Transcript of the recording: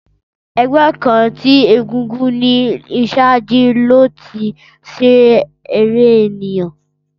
Ẹgbẹ kan ti egúngún ni iṣaaju lo lati ṣe ere eniyan.